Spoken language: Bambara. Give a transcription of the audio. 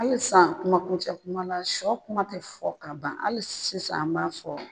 Hali sisan kuma kuncɛ kuma na sɔ kuma tɛ fɔ ka ban hali sisan an b'a fɔ